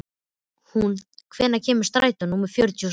Húnn, hvenær kemur strætó númer fjörutíu og átta?